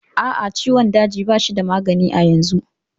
A'a, ciwon daji ba shi da magani a yanzu.